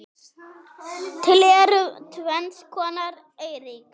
Til eru tvenns konar eyríki